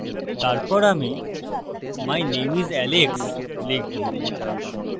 তারপর আমি my name is alex লিখবো